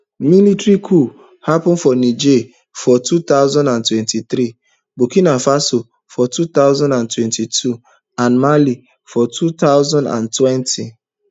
military coups happun for niger for two thousand and twenty-three burkina faso for two thousand and twenty-two and mali for two thousand and twenty